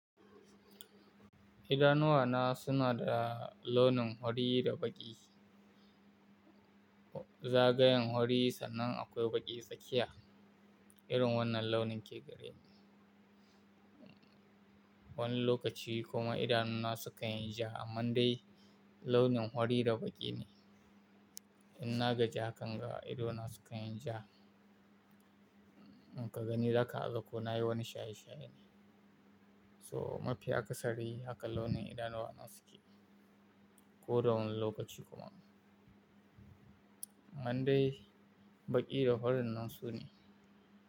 Idanuwa na suna da launin fari da baƙi. Zagayen fari sannan akwai baƙi tsakiya, irin wannan launin ke gare ni. Wani lokaci kuma idanu na su kan yi ja amma dai launin fari da baƙi ne. In na gaj kanga idona sukayin ja. In ka gani zaka, haza ko nayi wani shaye-shaye ne. So mafi akasari haka launin idanuwa na suke. Ko da wani lokaci kuma. Amma dai baƙi da horon nan su ne.